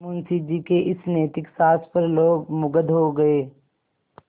मुंशी जी के इस नैतिक साहस पर लोग मुगध हो गए